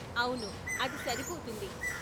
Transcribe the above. అవును, అది సరిపోతుంది.